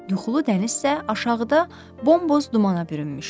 Yuxulu dənizsə aşağıda bombos dumana bürünmüşdü.